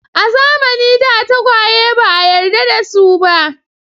A zamanin da tagwaye ba a yarda da su ba.